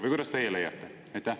Või kuidas teie leiate?